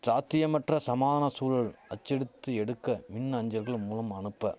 சாத்தியமற்ற சமாதன சூழல் அச்சடித்து எடுக்க மின் அஞ்சல்கள் மூலம் அனுப்ப